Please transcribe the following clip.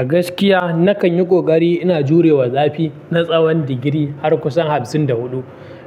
A gaskiya nakan yi ƙoƙari ina jurewa zafi na tsawan digiri har kusan hamsin da huɗu.